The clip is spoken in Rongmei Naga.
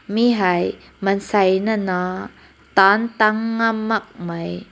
ne hai mansai na na tan tan mak mai.